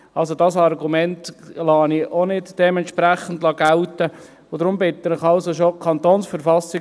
Dieses Argument lasse ich dementsprechend nicht gelten, und deshalb bitte ich Sie also schon: